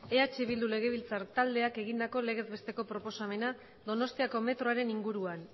eh bildu legebiltzar taldeak egindako legez besteko proposamena donostiako metroaren inguruan